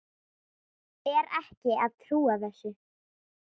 Er ekki að trúa þessu.